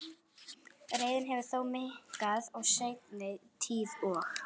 Reiðin hefur þó minnkað í seinni tíð og